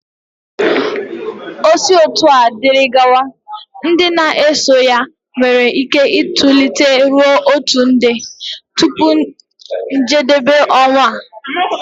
O si otua diri gawa, ndị na-eso ya nwere ike itolite ruo otu nde tupu njedebe ọnwa a